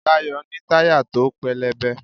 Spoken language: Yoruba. Dayo ní tayá to pelebè